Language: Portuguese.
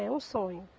É um sonho.